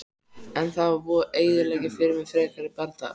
En það var búið að eyðileggja fyrir mér frekari bardaga.